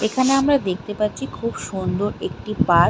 এখানে আমরা দেখতে পাচ্ছি খুব সুন্দর একটি পার্ক ।